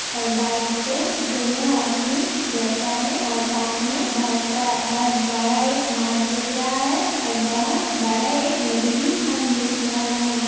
ओर bike से दोनों आदमी बेठा है और पास में बहुत सा बहुत बड़ा एक मार्ग दिख रहा है और बहुत बड़ा एक नदी भी हम देख रहा है।